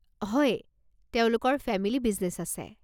হয়, তেওঁলোকৰ family business আছে।